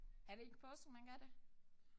Er det ikke påsken man gør det?